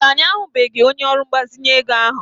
Mba, anyị ahụbeghị onye ọrụ mgbazinye ego ahụ.